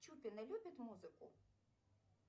чупина любит музыку